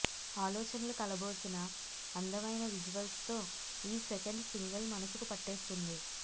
ఆలోచనలు కలబోసిన అందమైన విజువల్స్ తో ఈ సెకండ్ సింగిల్ మనసుకు పట్టేస్తోంది